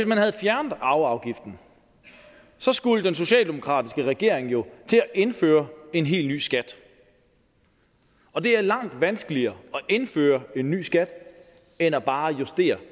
man havde fjernet arveafgiften skulle den socialdemokratiske regering jo til at indføre en helt ny skat og det er langt vanskeligere at indføre en ny skat end bare at justere